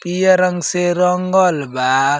पियर रंग से रंगल बा।